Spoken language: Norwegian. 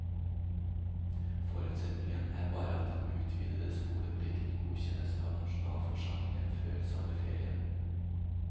Forutsetningen er bare at den utvidede skoleplikten godkjennes av nasjonalforsamlingen før sommerferien.